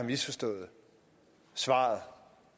svaret